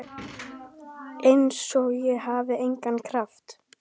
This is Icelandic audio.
Einsog ég hafi engan kraft.